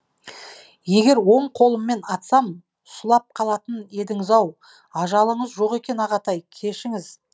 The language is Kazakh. егер оң қолыммен атсам сұлап қалатын едіңіз ау ажалыңыз жоқ екен ағатай кешіңіз